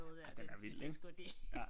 Ej den er vild ikke